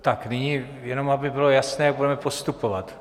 Tak, nyní jenom, aby bylo jasné, jak budeme postupovat.